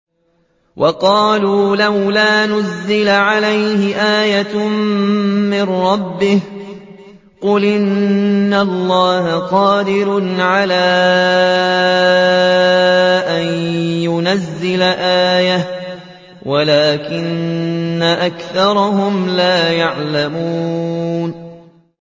وَقَالُوا لَوْلَا نُزِّلَ عَلَيْهِ آيَةٌ مِّن رَّبِّهِ ۚ قُلْ إِنَّ اللَّهَ قَادِرٌ عَلَىٰ أَن يُنَزِّلَ آيَةً وَلَٰكِنَّ أَكْثَرَهُمْ لَا يَعْلَمُونَ